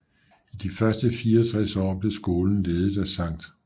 I de første 64 år blev skolen ledet af Sct